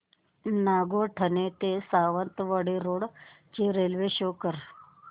नागोठणे ते सावंतवाडी रोड ची railway show कर